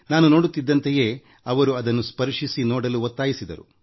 ನಾನು ನೋಡುತ್ತಿದ್ದಂತೆಯೇ ಅವರು ಅದನ್ನು ಸ್ಪರ್ಶಿಸಿ ನೋಡಲು ಒತ್ತಾಯಿಸಿದರು